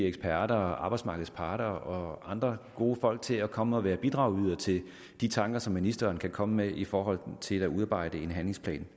eksperter arbejdsmarkedets parter og andre gode folk til at komme og være bidragydere til de tanker som ministeren kan komme med i forhold til at udarbejde en handlingsplan